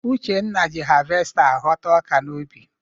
Uchenna ji havesta aghọta ọka n'ubi.